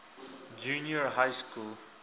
junior high school